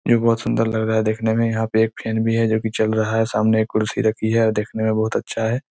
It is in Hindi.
ये बहोत सुंदर लग रहा हैं देखने में यहाँ पे एक फैन भी हैं जो कि चल रहा हैं सामने एक कुर्सी रखी हैं और देखने में बहोत अच्छा हैं।